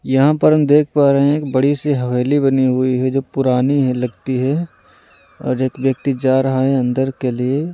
यहाँ पर हम देख पा रहे हैं एक बड़ी सी हवेली बनी हुई है जो पुरानी है लगती है और एक व्यक्ति जा रहा है अंदर के लिए----